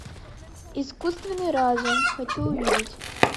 искусственный разум хочу увидеть